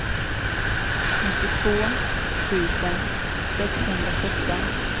nittiotvå tusen sexhundrasjutton